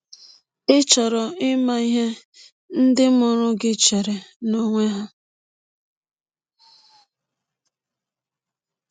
Ị̀ chọrọ ịma ihe ndị mụrụ gị chere n’ọkwụ a?